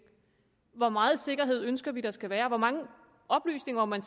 hvor meget sikkerhed vi ønsker der skal være og hvor mange oplysninger man